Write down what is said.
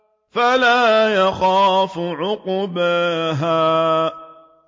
وَلَا يَخَافُ عُقْبَاهَا